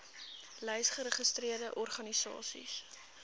lys geregistreerde organisasies